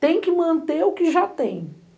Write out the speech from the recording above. Tem que manter o que já tem.